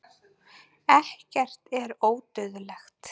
ekkert er ódauðlegt